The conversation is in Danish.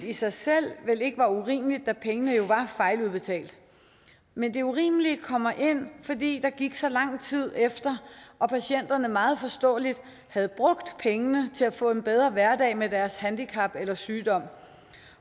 i sig selv vel ikke var urimeligt da pengene jo var fejludbetalt men det urimelige kom ind fordi der gik så lang tid efter og patienterne meget forståeligt havde brugt pengene til at få en bedre hverdag med deres handicap eller sygdom